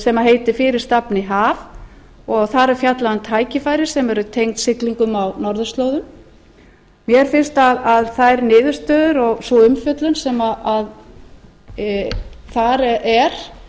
sem heitir fyrir stafni haf þar er fjallað um tækifæri sem eru tengd siglingum á norðurslóðum mér finnst að þær niðurstöður og sú umfjöllun sem þar er